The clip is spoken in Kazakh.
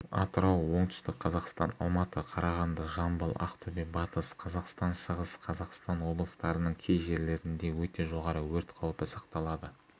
атырау оңтүстік қазақстан алматы қарағанды жамбыл ақтөбе батыс қазақстан шығыс қазақстан облыстарының кей жерлерінде өте жоғары өрт қаупі сақталады